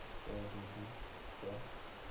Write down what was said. क्या दीदी क्या